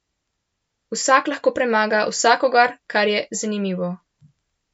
Vsak lahko premaga vsakogar, kar je zanimivo.